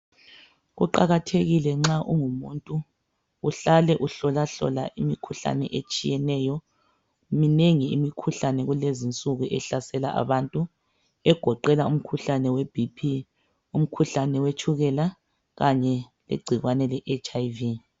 Kuqakathekile nxa ungumuntu uhlale uhlolahlola imikhuhlane. Minengi imikhuhlane kulezi insuku ehlasela abantu. Egoqela umkhuhlane weBP, umkhuhlane we tshukela. Kanye legcikwane leHIV.